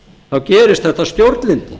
þá gerist þetta stjórnlyndi